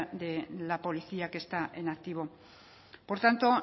de la policía que está en activo por tanto